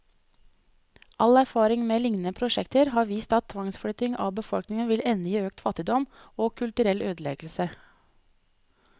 All erfaring med lignende prosjekter har vist at tvangsflytting av befolkningen vil ende i økt fattigdom, og kulturell ødeleggelse.